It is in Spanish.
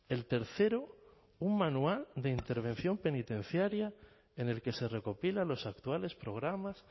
el tercero un manual de intervención penitenciaria en el que se recopilan los actuales programas